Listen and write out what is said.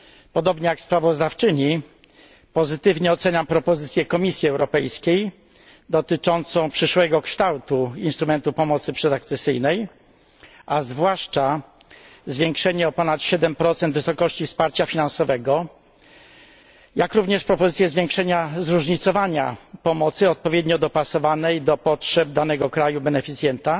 Podobnie jak sprawozdawczyni pozytywnie oceniam propozycję Komisji Europejskiej dotyczącą przyszłego kształtu instrumentu pomocy przedakcesyjnej, a zwłaszcza zwiększenie o ponad 7 wysokości wsparcia finansowego, jak również propozycję zwiększenia zróżnicowania pomocy odpowiednio dopasowanej do potrzeb danego kraju beneficjenta